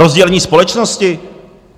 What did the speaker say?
Rozdělení společnosti?